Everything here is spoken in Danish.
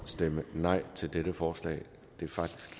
stemme nej til dette forslag det er faktisk